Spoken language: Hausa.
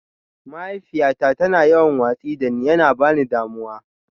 Mahaifiyyata ta na yawan watsi da ne, ya na ba ni damuwa.